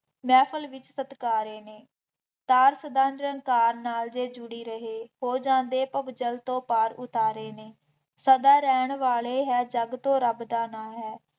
ਮਹਿਫਲ ਵਿੱਚ ਸਤਿਕਾਰੇ ਨੇ, ਤਾਰ ਸਦਾ ਚਿਰ ਤਾਰ ਨਾਲ ਜੇ ਜੁੜੀ ਰਹੇ ਹੋ ਜਾਂਦੇ ਭਵਜੱਲ ਤੋਂ ਪਾਰ ਉਤਾਰੇ ਨੇ, ਸਦਾ ਰਹਿਣ ਵਾਲੇ ਹੈ ਜੱਗ ਤੋਂ ਰੱਬ ਦਾ ਨਾਂ ਹੈ,